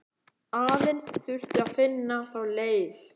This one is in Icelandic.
Aðeins þyrfti að finna þá leið.